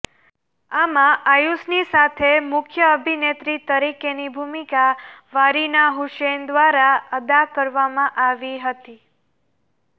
આમાં આયુષની સાથે મુખ્ય અભિનેત્રી તરીકેની ભૂમિકા વારીના હુસૈન દ્વારા અદા કરવામાં આવી હતી